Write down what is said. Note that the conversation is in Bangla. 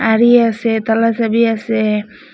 আরি আসে তালা চাবি আসে।